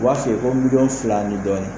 U b'a feere fo miliyɔn fila ni dɔɔnin